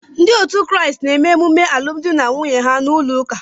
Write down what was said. Ndị otu Kraịst na-eme emume alụmdi na nwunye ha n'ụlọ ụka.